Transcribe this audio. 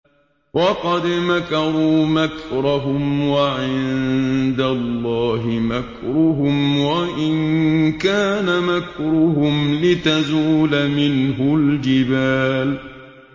وَقَدْ مَكَرُوا مَكْرَهُمْ وَعِندَ اللَّهِ مَكْرُهُمْ وَإِن كَانَ مَكْرُهُمْ لِتَزُولَ مِنْهُ الْجِبَالُ